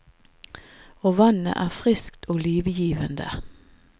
Og vannet er friskt og livgivende.